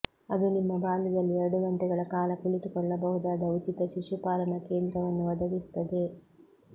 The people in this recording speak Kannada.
ಅದು ನಿಮ್ಮ ಬಾಲ್ಯದಲ್ಲಿ ಎರಡು ಗಂಟೆಗಳ ಕಾಲ ಕುಳಿತುಕೊಳ್ಳಬಹುದಾದ ಉಚಿತ ಶಿಶುಪಾಲನಾ ಕೇಂದ್ರವನ್ನು ಒದಗಿಸುತ್ತದೆ